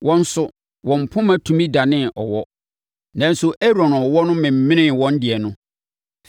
Wɔn nso, wɔn poma tumi danee ɔwɔ. Nanso, Aaron ɔwɔ no menee wɔn deɛ no.